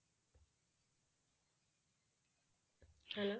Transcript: ਹਨਾ।